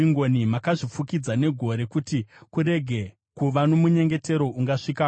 Makazvifukidza negore kuti kurege kuva nomunyengetero ungasvikako.